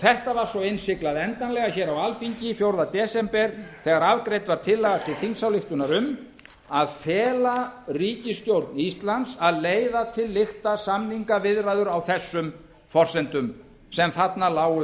þetta var svo innsiglað endanlega á alþingi fjórða desember þegar afgreidd var tillaga til þingsályktunar um að fela ríkisstjórn íslands að leiða til lykta samningaviðræður á þessum forsendum sem þarna lágu